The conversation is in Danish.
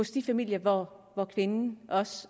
de familier hvor kvinden også